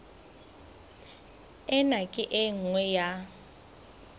ena ke e nngwe ya